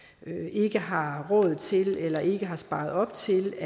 ikke har råd til eller ikke har sparet op til